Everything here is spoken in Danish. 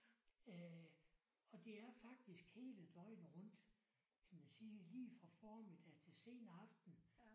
Øh og det er faktisk hele døgnet rundt kan man sige lige fra formiddag til sen aften